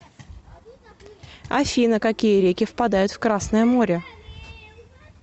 афина какие реки впадают в красное море